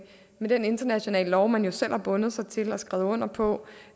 den internationale lov man jo selv har bundet sig til og skrevet under på